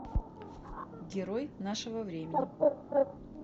герой нашего времени